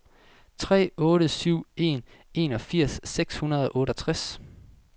tre otte syv en enogfirs seks hundrede og otteogtres